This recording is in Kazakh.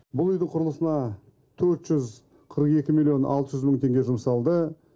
бұл үйдің құрылысына төрт жүз қырық екі миллион алты жүз мың теңге жұмсалды